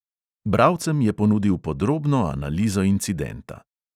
Bralcem je ponudil podrobno analizo incidenta.